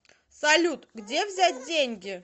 салют где взять деньги